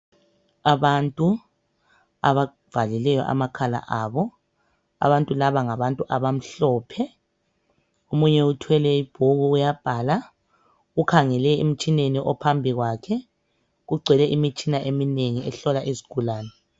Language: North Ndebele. Abantu abavalele amakhala abo. Abantu laba ngabantu abamhlophe. Omunye uthwele ibhuku uyabhala , ukhangele emtshineni ophambi kwakhe. Kugcwele imitshina eminengi ehlola izigulane.